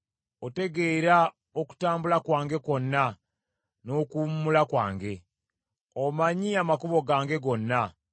Otegeera okutambula kwange kwonna n’okuwummula kwange. Omanyi amakubo gange gonna.